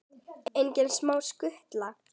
Engin smá skutla!